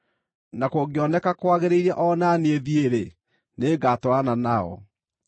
Na kũngĩkoneka kwagĩrĩire o na niĩ thiĩ-rĩ, nĩngatwarana nao.